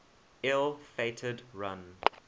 ill fated run